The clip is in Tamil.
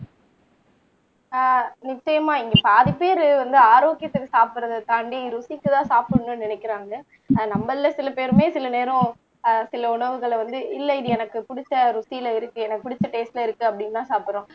ஆஹ் நிச்சயமா இங்க பாதி பேரு வந்து ஆரோக்கியத்தை சாப்பிடறதை தாண்டி ருசிக்கு தான் சாப்பிடணும்னு நினைக்கிறாங்க ஆனா நம்மள்ல சில பேருமே சில நேரம் ஆஹ் சில உணவுகளை வந்து இல்ல இது எனக்கு புடிச்ச ருசியில இருக்கு எனக்கு புடிச்ச டேஸ்ட்ல இருக்கு அப்படின்னுதான் சாப்பிடறோம்